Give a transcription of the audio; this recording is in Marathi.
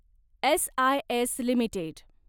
SIS limited